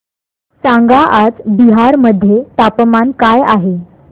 सांगा आज बिहार मध्ये तापमान काय आहे